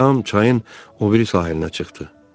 Ram çayın o biri sahilinə çıxdı.